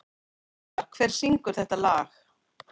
Sigmar, hver syngur þetta lag?